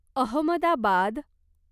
Ahmedabad